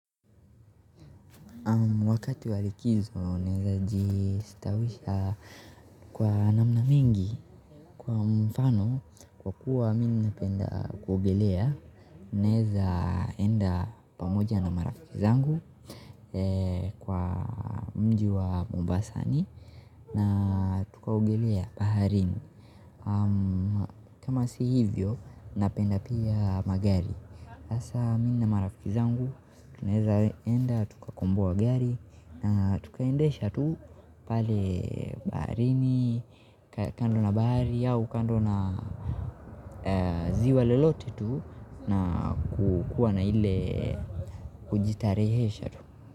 Wakati wa likizo naweza jistawisha kwa namna mingi kwa mfano kwa kuwa mimi na napenda kuogelea naweza enda pamoja na marafiki zangu kwa mji wa Mombasani na tuka ogelea baharini kama si hivyo napenda pia magari hasa mi na marafiki zangu, tunaweza enda, tuka komboa gari na tuka endesha tu pale baharini, kando na bahari au kando na ziwa lolote tu na kukua na ile kujitarehesha tu.